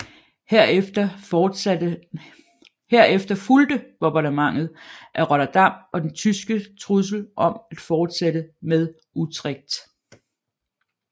Herefter fulgte Bombardementet af Rotterdam og den tyske trussel om at fortsætte med Utrecht